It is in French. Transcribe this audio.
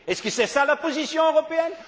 Est ce que c'est cela la position européenne?